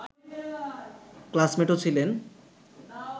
ক্লাসমেটও ছিলেন